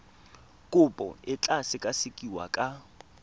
kopo e tla sekasekiwa ka